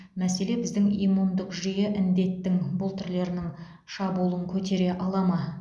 мәселе біздің иммундық жүйе індеттің бұл түрлерінің шабуылын көтере ала ма